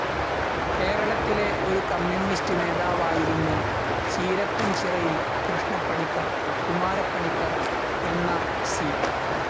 കേരളത്തിലെ ഒരു കമ്മ്യൂണിസ്റ്റ്‌ നേതാവായിരുന്നു ചീരപ്പൻചിറയിൽ കൃഷ്ണപ്പണിക്കർ കുമാരപ്പണിക്കർ എന്ന സി.